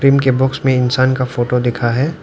के बॉक्स में इंसान का फोटो दिखा हैं।